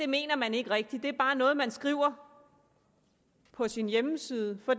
mener man ikke rigtig det er bare noget man skriver på sin hjemmeside for